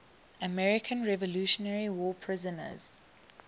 american revolutionary war prisoners